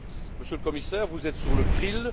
Monsieur le Commissaire, vous êtes sur le grill